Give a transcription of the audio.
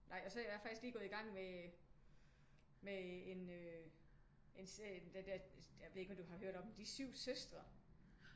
Nej og så er jeg faktisk lige gået i gang med en øh en serie jeg ved ikke om du har hørt om den De 7 Søstre